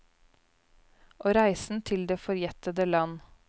Og reisen til det forjettede land.